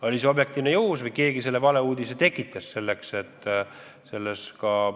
Oli see objektiivsel põhjusel ilmunud teade või keegi tekitas meelega valeuudise – ei tea.